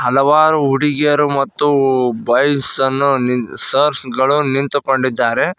ಹಲವಾರು ಹುಡುಗಿಯರು ಮತ್ತು ಬಾಯ್ಸ್ ಅನ್ನು ನಿಂ ಸರ್ಸ್ ಗಳು ನಿಂತುಕೊಂಡಿದ್ದಾರೆ.